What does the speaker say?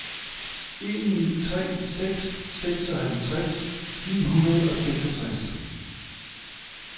en ni tre seks seksoghalvtreds ni hundrede og seksogtres